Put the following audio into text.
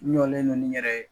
N jɔlen don nin yɛrɛ ye.